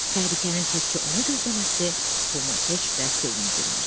Təhlükənin təkcə onu gözləməsi Tomu heç də sevindirmirdi.